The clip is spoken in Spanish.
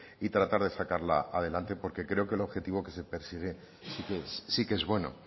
y tratar de sacarla adelante porque creo que el objetivo que se persigue sí que es bueno